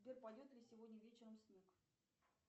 сбер пойдет ли сегодня вечером снег